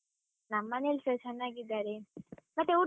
ನಮ್ಮನೇಲ್ಸ ಚನ್ನಾಗಿದ್ದಾರೆ, ಮತ್ತೆ ಊಟ.